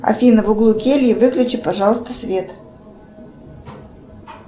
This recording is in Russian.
афина в углу кельи выключи пожалуйста свет